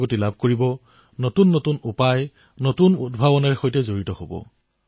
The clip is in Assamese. বন্ধুসকল আজিৰ তাৰিখত আমি খেতিক যিমানেই আধুনিক বিকল্প প্ৰদান কৰিম সিমানেই ই আগবাঢ়িব